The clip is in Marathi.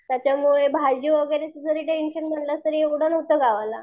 त्याच्यामुळे भाजी वगैरेचं जरी टेन्शन म्हणलंस तर एवढं नसतं गावाला.